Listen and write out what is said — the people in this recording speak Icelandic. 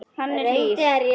Hann er hlýr.